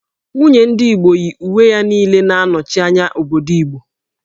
Nwunye ndị Igbo yi uwe ya niile na-anọchi anya obodo Igbo